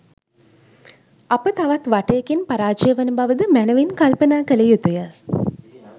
අප තවත් වටයකින් පරාජය වන බව ද මැනවින් කල්පනා කළ යුතුය.